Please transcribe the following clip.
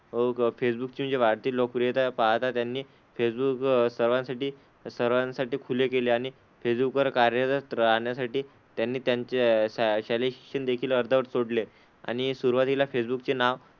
अह फेसबुकची जी वाढती लोकप्रियता आहे पाहता त्यांनी फेसबुक सर्वांसाठी सर्वांसाठी खुले केले आणि फेसबुक वर कार्यरत राहण्यासाठी त्यांनी त्यांचे श शालेय शिक्षण देखील अर्धवट सोडले. आणि सुरुवातीला फेसबुकचे नाव,